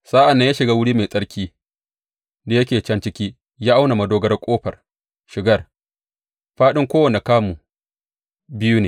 Sa’an nan ya shiga wuri mai tsarki da yake can ciki ya auna madogarar ƙofar shigar; fāɗin kowanne kamu biyu ne.